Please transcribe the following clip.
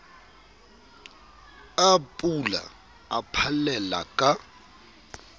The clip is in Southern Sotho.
a pula a phallella ka